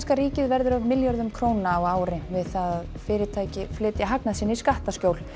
ríkið verður af milljörðum króna á ári við það að fyrirtæki flytja hagnað sinn í skattaskjól